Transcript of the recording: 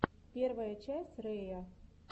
первая часть рэя